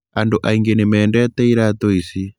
Andũ aingĩ nĩ mendete iratũ ici.